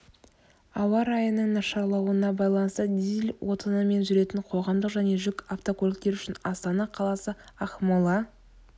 ауа райының нашарлауына байланысты дизель отынымен жүретін қоғамдық және жүк автокөліктері үшін астана қаласы ақмола